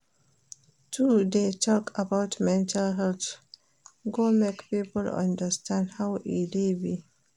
To dey tok about mental health go make people understand how e dey be.